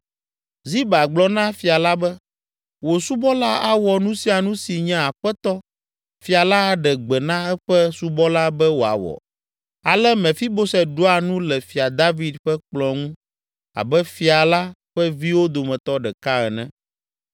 Ziba gblɔ na fia la be, “Wò subɔla awɔ nu sia nu si nye aƒetɔ, fia la aɖe gbe na eƒe subɔla be wòawɔ.” Ale Mefiboset ɖua nu le Fia David ƒe kplɔ̃ ŋu abe fia la ƒe viwo dometɔ ɖeka ene.